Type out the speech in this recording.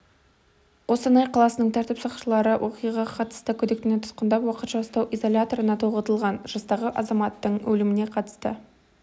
қостанай қаласының тәртіп сақшылары оқиғаға қатысты күдіктіні тұтқындап уақытша ұстау изоляторына тоғытылған жастағы азаматтың өліміне қатысты